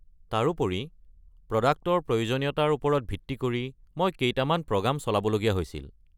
তাৰোপৰি, প্ৰডাক্টৰ প্ৰয়োজনীয়তাৰ ওপৰত ভিত্তি কৰি মই কেইটামান প্ৰগ্ৰাম চলাবলগীয়া হৈছিল।